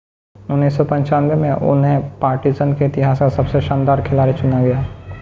1995 में उन्हें पार्टिज़न के इतिहास का सबसे शानदार खिलाड़ी चुना गया